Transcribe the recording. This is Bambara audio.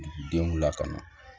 Denw lakana